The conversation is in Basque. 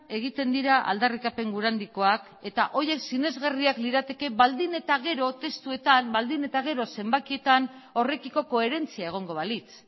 egiten dira aldarrikapen gura handikoak eta horiek sinesgarriak lirateke baldin eta gero testuetan baldin eta gero zenbakietan horrekiko koherentzia egongo balitz